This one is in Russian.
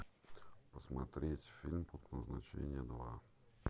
посмотреть фильм пункт назначения два